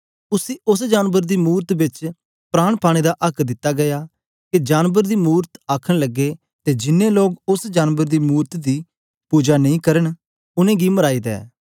उसी उस्स जानबर दी मूरत बिच प्राण पाने दा आक्क दिता गीया के जानबर दी मूरत आखन लगे ते जिन्नें लोग उस्स जानबर दी मूरत दी पुजा नां करन उनेंगी मराई दे